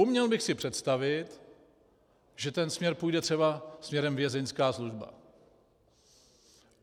Uměl bych si představit, že ten směr půjde třeba směrem vězeňská služba.